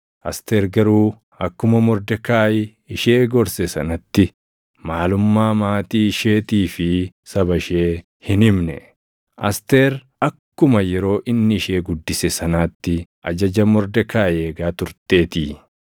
Asteer garuu akkuma Mordekaayi ishee gorse sanatti maalummaa maatii isheetii fi saba ishee hin himne; Asteer akkuma yeroo inni ishee guddise sanaatti ajaja Mordekaayi eegaa turteetii.